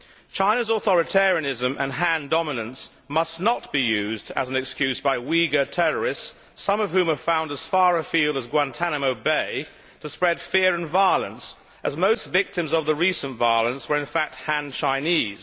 China's authoritarianism and Han dominance must not be used as an excuse by Uighur terrorists, some of whom are found as far afield as Guantánamo Bay, to spread fear and violence, as most victims of the recent violence were in fact Han Chinese.